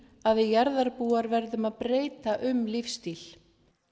að við jarðarbúar verðum að breyta um lífsstíl